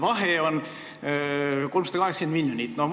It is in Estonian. Vahe on 380 miljonit.